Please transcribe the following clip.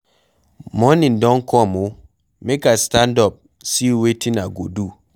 Morning don come oo, make I stand up see wetin I go do.